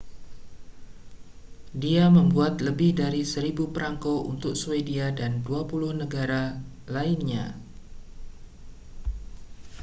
dia membuat lebih dari 1.000 prangko untuk swedia dan 28 negara lainnya